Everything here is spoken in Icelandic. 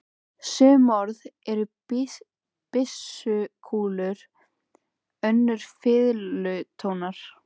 Sum orð eru byssukúlur, önnur fiðlutónar.